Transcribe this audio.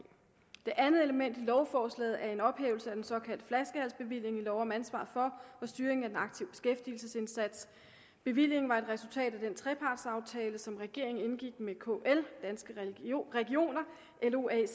det andet element i lovforslaget er en ophævelse af den såkaldte flaskehalsbevilling i lov om ansvar for og styring af den aktive beskæftigelsesindsats bevillingen var et resultat af den trepartsaftale som regeringen indgik med kl danske regioner lo ac